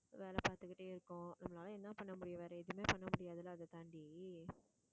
வேலை பார்த்துகிட்டே இருக்கோம். நம்மளால என்ன பண்ண முடியும் வேற எதுவுமே பண்ண முடியாது இல்லை அதைத்தாண்டி